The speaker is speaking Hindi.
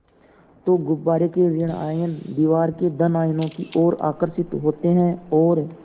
तो गुब्बारे के ॠण आयन दीवार के धन आयनों की ओर आकर्षित होते हैं और